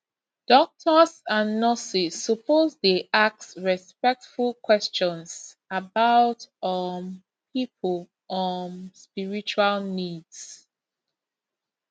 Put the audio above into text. doctors and nurses suppose dey ask respectful questions about um people um spiritual needs